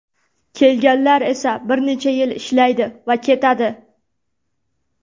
Kelganlar esa bir necha yil ishlaydi va ketadi.